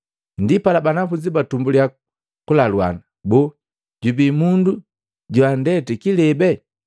Ndipala banafunzi batumbuliya kulaluana, “Boo jubii mundu joandeti kilebe?”